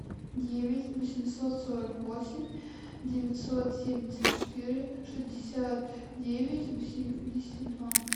девять восемьсот сорок восемь девятьсот семьдесят четыре шестьдесят девять восемьдесят два